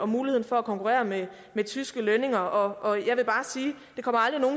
muligheden for at konkurrere med tyske lønninger og jeg vil bare